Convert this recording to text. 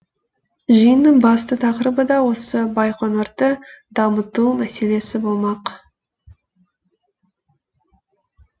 жиынның басты тақырыбы да осы байқоңырды дамыту мәселесі болмақ